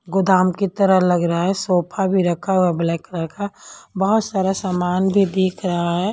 गोदाम की तरह लग रहा है सोफा भी रखा हुआ है ब्लैक कलर का बहुत सारा सामान भी दिख रहा है।